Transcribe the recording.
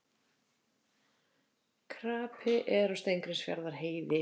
Krapi er á Steingrímsfjarðarheiði